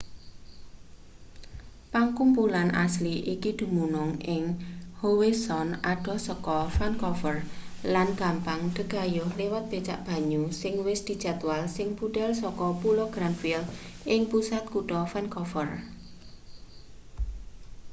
pakumpulan asli iki dumunung ing howe sound adoh saka vancouver lan gampang dagayuh liwat becak banyu sing wis dijadwal sing budhal saka pulo granville ing pusat kutha vancouver